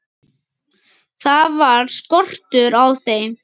Það var skortur á þeim.